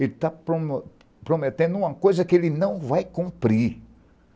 Ele está prome prometendo uma coisa que ele não vai cumprir.